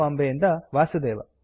ಬಾಂಬೆ ಇಂದ ವಾಸುದೇವ